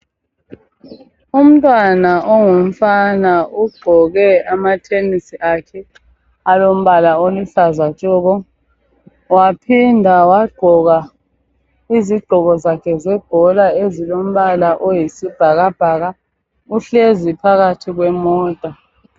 Umntwana ongumfana ugqoke amathenisi akhe alombala oluhlaza tshoko waphinda wagqoka izigqoko zakhe zebhola ezilombala oyisibhakabhaka , uhlezi phakathi kwemota